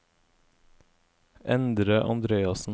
Endre Andreassen